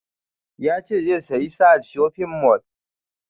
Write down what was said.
Ya ce zai saya a sahad shopping mall